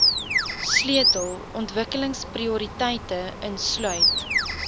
sleutel ontwikkelingsprioriteite insluit